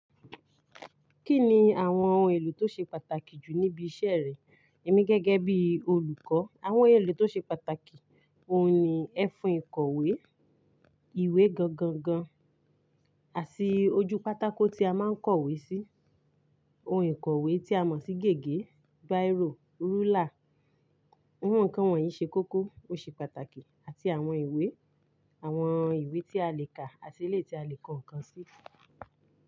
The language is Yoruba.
Kí ni àwọn ohun èlò tó ṣe pàtàkì jù níbi iṣẹ́ rẹ? Èmi gẹ́gẹ́ bí olùkọ́, àwọn èlò tó ṣe pàtàkì, òun ni ẹfun ìkọ̀wé, ìwé gangan gan, àti ojú pátákó tí a máa ń kọ̀wé sí, ohun ìkọ̀wé tí a mọ̀ sí gègé, biro, rúlà. Awon nkan wọ̀nyí ṣe kókó ó ṣe pàtàkì àti àwọn ìwé, àwọn ìwé tí a lè kà àti eléyii tí a lè kọ ǹkan sí.